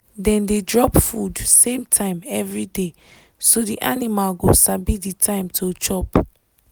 dem dey drop food same time everyday so the animal go sabi the time to chop